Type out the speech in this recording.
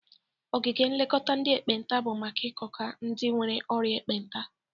Ogige nlekọta ndị ekpenta bụ maka ilekọta ndị nwere orịa ekpenta.